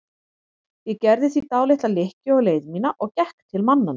Ég gerði því dálitla lykkju á leið mína og gekk til mannanna.